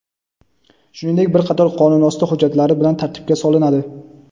shuningdek bir qator qonunosti hujjatlari bilan tartibga solinadi.